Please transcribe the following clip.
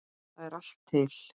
Þar er allt til.